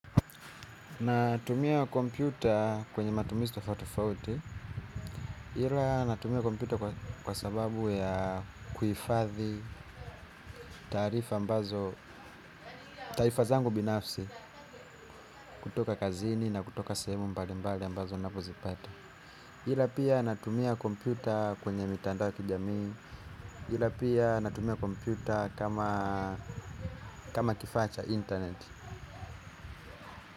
Natumia kompyuta kwenye matumizi tofauti tofauti. Hila natumia kompyuta kwa sababu ya kuifathi tarifa ambazo taifazangu binafsi kutoka kazini na kutoka sehemu mbali mbali ambazo napozipata. Hila pia natumia kompyuta kwenye mitandao ya kijami. Hila pia natumia komputa kama kifacha internet.